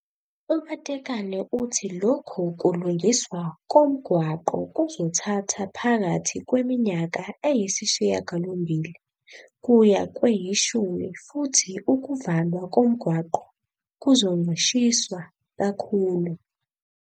U-Matekane uthi lokhu kulungiswa komgwaqo kuzothatha phakathi kweminyaka [] eyisishiyagalombili kuya kweyishumi futhi ukuvalwa komgwaqo kuzoncishiswa kakhulu.